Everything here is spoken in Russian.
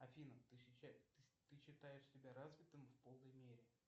афина ты считаешь себя развитым в полной мере